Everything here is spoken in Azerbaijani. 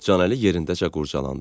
Canəli yerindəcə qurcalandı.